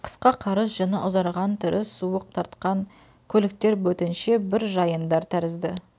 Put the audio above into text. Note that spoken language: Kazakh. қысқа қарыс жүні ұзарған түрі суық тартқан көліктер бөтенше бір жайындар тәрізді